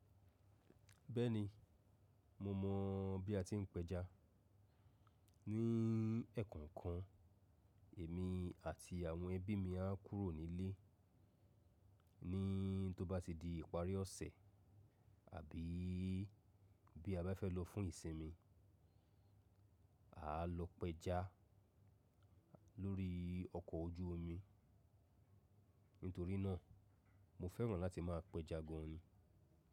Bẹ́ẹ̀ni, mo mọ̀ bí a ti ń pẹja. Ní ẹ̀kọọkan, èmi àti àwọn ẹbí mi a kúrò nílé, ní tó bá ti di ìparí ọ̀sẹ̀ àbí bí a bá fẹ́ lọ fún ìsinmi, a á lọ péja lórí ọkọ̀ ojú omi. Nítorí náà, mo fẹ́ràn láti máa pẹja gan ni.